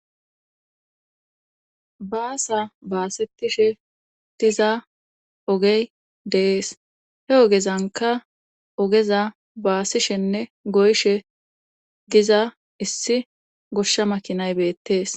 Baasa baasettishe diza ogey deees he ogezanka ogeza baasishenne goyshe diza issi goshsha makinaybeettees